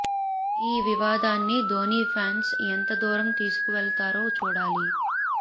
ఈ వివాదాన్ని ధోనీ ఫ్యాన్స్ ఎంత దూరం తీసుకు వెళతారో చూడాలి